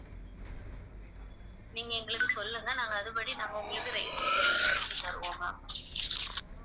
நீங்க எங்களுக்கு சொல்லுங்க நாங்க அதுபடி நாங்க உங்களுக்கு பண்ணி தருவோம் ma'am